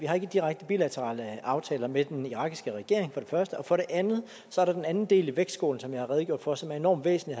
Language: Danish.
har direkte bilaterale aftaler med den irakiske regering for det andet er der den anden del i vægtskålen som jeg har redegjort for og som er enormt væsentlig